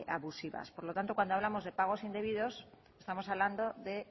abusivas por lo tanto cuando hablamos de pagos indebidos estamos hablando de